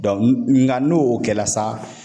nka n'o kɛla sa